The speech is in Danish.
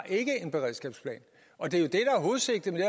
en beredskabsplan og det der er hovedsigtet med